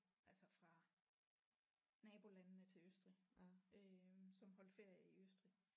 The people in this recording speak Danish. Altså fra nabolandene til Østrig øh som holdte ferie i Østrig